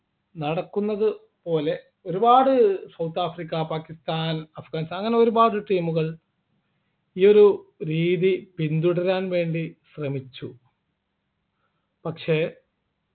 നടക്കുന്നതുപോലെ ഒരുപാട് south Africa Pakistan Afghanistan അങ്ങനെ ഒരുപാട് team കൾ ഈ ഒരു രീതി പിന്തുടരാൻ വേണ്ടി ശ്രമിച്ചു പക്ഷേ